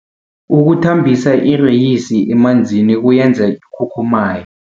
Ukuthambisa ireyisi emanzini kuyenza ikhukhumaye.